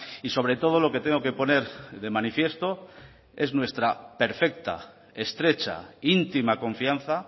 y sobre todo lo que tengo que poner de manifiesto es nuestra perfecta estrecha íntima confianza